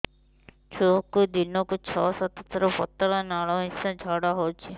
ଛୁଆକୁ ଦିନକୁ ଛଅ ସାତ ଥର ପତଳା ନାଳ ମିଶା ଝାଡ଼ା ହଉଚି